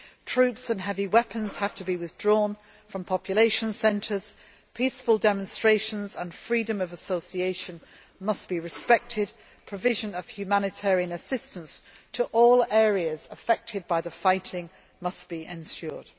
Troops and heavy weapons have to be withdrawn from population centres, peaceful demonstrations and freedom of association must be respected, and the provision of humanitarian assistance to all areas affected by the fighting must be ensured.